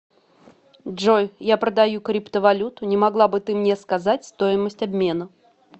джой я продаю криптовалюту не могла бы ты мне сказать стоимость обмена